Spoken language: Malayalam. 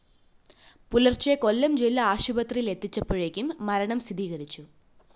പുലര്‍ച്ചെ കൊല്ലം ജില്ലാ ആശുപത്രിയിലെത്തിച്ചപ്പോഴേക്കു മരണം സ്ഥിരീകരിച്ചു